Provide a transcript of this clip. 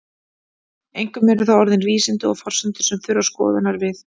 Einkum eru það orðin vísindi og forsendur sem þurfa skoðunar við.